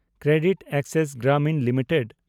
CreditAccess Grameen limited